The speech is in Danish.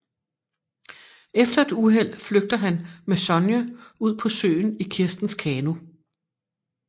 Efter et uheld flygter han med Sonja ud på søen i Kirstens kano